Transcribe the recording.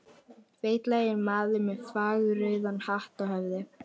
Feitlaginn maður með fagurrauðan hatt á höfði.